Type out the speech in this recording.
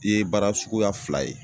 E baara suguya fila ye